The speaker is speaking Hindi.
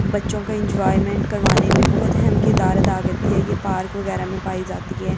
बच्चों का एंजॉयमेंट करवाने में बहुत अहम किरदार अदा करती है ये पार्क वगैरह में पाई जाती है।